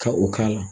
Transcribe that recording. Ka o k'a la